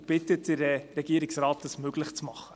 Ich bitte den Regierungsrat, dies möglich zu machen.